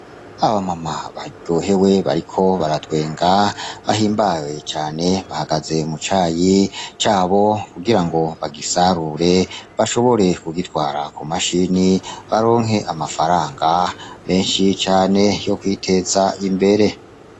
Aba mama baryohewe bariko baratwenga bahimbawe cane bahagaze mu cayi cabo kugira ngo bagisarure bashobore kugitwara ku mashini , baronke amafaranga menshi cane yo kwiteza imbere.